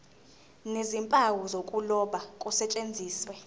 nezimpawu zokuloba kusetshenziswe